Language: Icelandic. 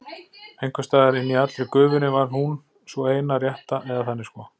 Einhvers staðar inni í allri gufunni var hún, sú eina rétta, eða þannig sko.